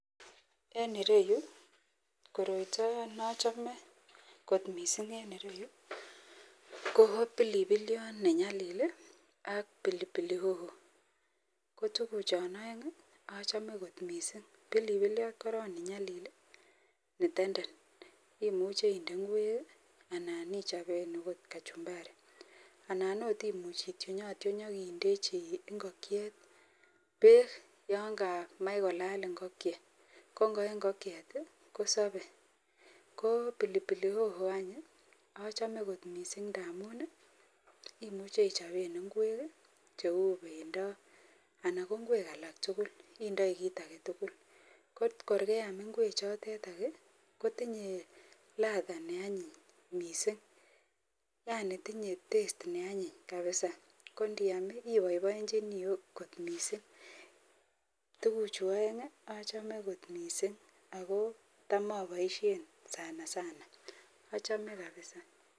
En ireyu koroito neachame kot mising en ireyu ko bilibiliot nenyalil ak pilipili hoho kotuguk chon aeng achome kot mising bilibiliot koron nenyalil netenden imuche inde ingwek anan ichopen okot kachumbari anan okot imuche ityonatyon akindechi ingokiet bek Yanga Mach kolala ingokiet kongoyee ingokiet kosabe ko pilipili hoho eny achome kot mising amun imuche ichopen ingwek cheu bendo anan ko ingwek alaktugul indii kit agetugul korgeyam ingwek chotetan kotinye Lada neanyin mising Yani tinye test neanyin kabisa kondiyam ibaibaenchinin okot kot mising tuguk Chu aeng achome kot mising akotam abaishen sanasana achome kabisa